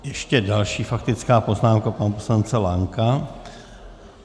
Ještě další faktická poznámka pana poslance Lanka.